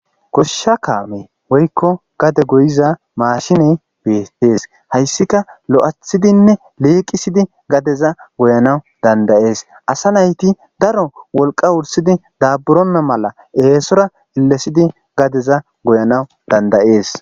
Gosha kamey woykon gade goyizakameyi betes haysika lo'ithidine liqisidi gadeza goyanaw dandayes asa nayti daro wolqa wurisi dabutonta mala esora elesidi gada goyaw dandayes